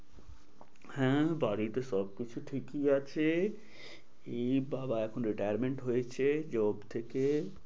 হ্যাঁ বাড়িতে সবকিছু ঠিকই আছে। এই বাবা এখন retirement হয়েছে job থেকে।